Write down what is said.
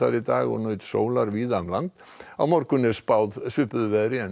í dag og naut sólar víða um land á morgun er spáð svipuðu veðri en